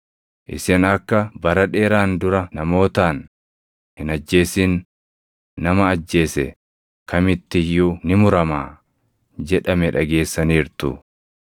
“Isin akka bara dheeraan dura namootaan, ‘Hin ajjeesin; nama ajjeese kamitti iyyuu ni muramaa’ + 5:21 \+xt Bau 20:13\+xt* jedhame dhageessaniirtu.